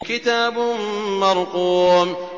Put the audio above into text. كِتَابٌ مَّرْقُومٌ